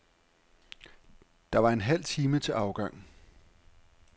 Der var en halv time til afgang.